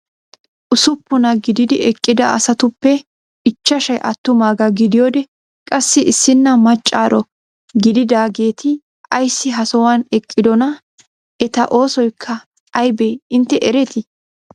Usuppunaa gididi eqqida asatuppe ichchashshay attumaagaa gidiyoode qassi issina maccaro gididaageti ayssi ha sohuwaan eqqidoonaa? eta oosoykka aybee intte eretii?